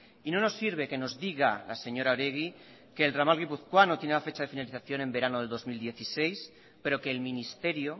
y no nos sirve que nos diga la señora oregi que el ramal guipuzcoano tiene la fecha de finalización en verano del dos mil dieciséis pero que el ministerio